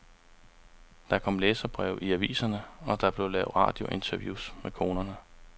Der kom læserbreve i aviserne, og der blev lavet radiointerviews med konerne.